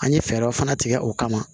An ye fɛɛrɛ fana tigɛ o kama